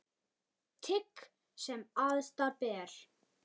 Tign sem æðsta ber.